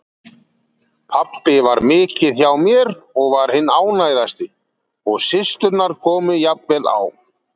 Pabbi var mikið hjá mér og var hinn ánægðasti og systurnar komu jafnvel á